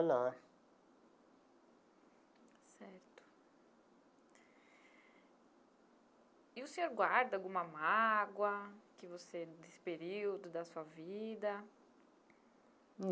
Lá. Certo, e o senhor guarda alguma mágoa que você desse período da sua vida?